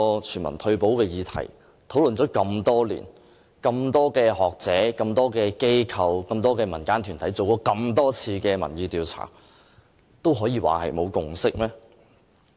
全民退休保障這議題討論了這麼多年，經這麼多位學者、這麼多間機構及這麼多個民間團體進行這麼多次的民意調查後，還可以說沒有共識嗎？